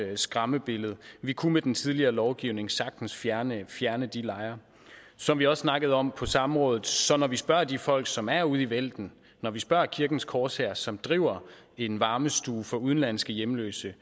skræmmebillede vi kunne med den tidligere lovgivning sagtens fjerne fjerne de lejre som vi også snakkede om på samrådet så når vi spørger de folk som er ude i felten når vi spørger kirkens korshær som driver en varmestue for udenlandske hjemløse